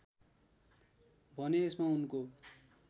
भने यसमा उनको